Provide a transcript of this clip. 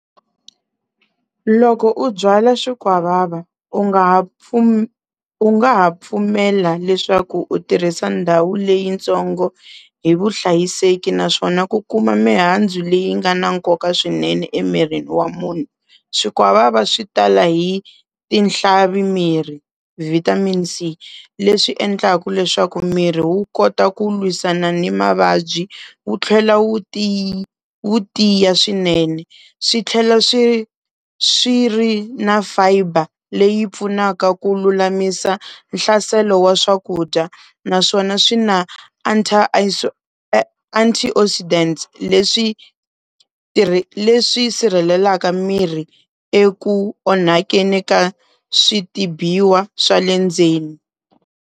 Loko u byala swikwavava u nga ha u nga ha pfumela leswaku u tirhisa ndhawu leyitsongo hi vuhlayiseki naswona ku kuma mihandzu leyi nga na nkoka swinene emirini wa munhu. Swikwavava swi tala hi tinhlavi miri vitamin C, leswi endlaku leswaku miri wu kota ku lwisana ni mavabyi wu tlhela wu wu tiya swinene, swi tlhela swi swi ri na fiber leyi pfunaka ku lulamisa nhlaselo wa swakudya naswona swi na antioxidant leswi leswi sirhelelaka miri eku onhakeni ka switibiwa swa le ndzeni.